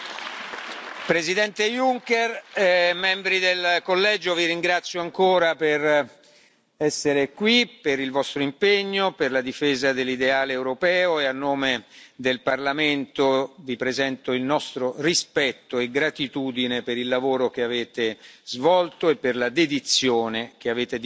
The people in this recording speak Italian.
Presidente Juncker, membri del Collegio, vi ringrazio ancora per essere qui, per il vostro impegno e per la difesa dell'ideale europeo e, a nome del Parlamento, vi presento il nostro rispetto e gratitudine per il lavoro che avete svolto e per la dedizione che avete dimostrato